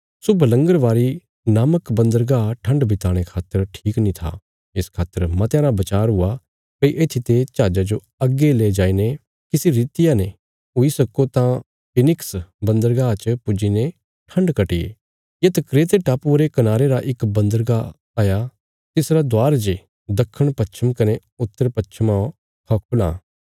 शुभलंगरबारी नामक बन्दरगाह ठण्ड बिताणे खातर ठीक नीं था इस खातर मतयां रा बचार हुआ भई येत्थीते जहाजा जो अग्गे ले जाईने किसी रितिया ने हुई सक्को तां फीनिक्स बन्दरगाह च पुज्जी ने ठण्ड कट्टिये येत क्रेते टापुये रे कनारे रा इक बन्दरगाह हया तिसरा दवार जे दखणपश्चम कने उत्तरपश्चमा खौ खुलां